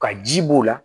Ka ji b'o la